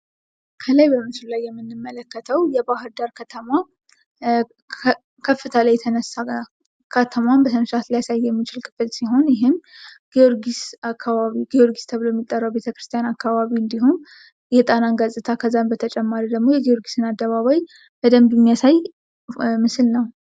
ከላይ በምስሉ ላይ የምንመለከተው የባህር ዳር ከተማ ከከፍታ ላይ የተነሳ ከተማዋን በስነ ስርዓት ማሳየት የሚችል ክፍል ሲሆን ይህም ጊዮርጊስ ተብሎ የሚጠራው ቤተክርስቲያን አካባቢ እንዲሁም የጣናን ገፅታ እንዲሁም ደግሞ የጊዮርጊስን አደባባይ በደንብ የሚያሳይ ምስል ነው።